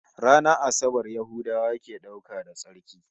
Ranar Asabar Yahudawa ke dauka da tsarki